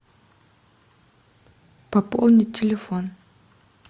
пополнить телефон